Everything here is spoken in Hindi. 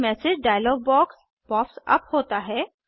एक message dialog box pop up होता है